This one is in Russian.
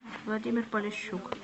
владимир полищук